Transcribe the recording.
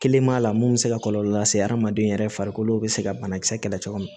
Kelen b'a la mun bɛ se ka kɔlɔlɔ lase hadamaden yɛrɛ farikolo bɛ se ka banakisɛ kɛlɛ cogo min